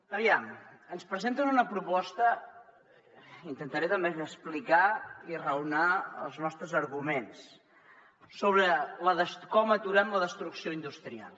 aviam ens presenten una proposta intentaré també explicar i raonar els nostres arguments sobre com aturem la destrucció industrial